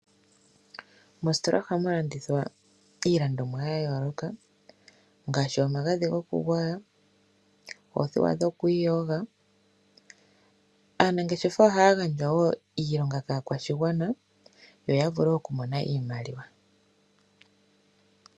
Mositola ohamu landithwa iilandomwa ya yooloka ngaashi omagadhi gokugwaya, oothewa dhokwiiyoga. Aanangeshefa ohaya gandja wo iilonga kaakwashigwana, yo ya vule okumona iimaliwa.